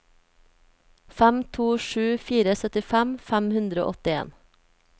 fem to sju fire syttifem fem hundre og åttien